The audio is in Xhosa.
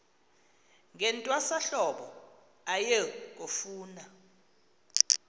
ngentwasahlobo aye kufuna